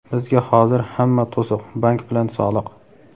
Bizga hozir hamma to‘siq — bank bilan soliq.